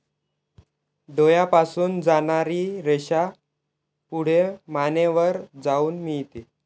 डोळ्यापासून जाणारी रेषा पुढे मानेवर जाऊन मिळते.